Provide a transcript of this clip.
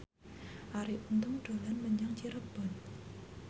Arie Untung dolan menyang Cirebon